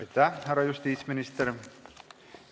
Aitäh, härra justiitsminister!